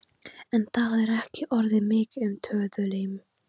En það er ekki orðið mikið um töðuilm.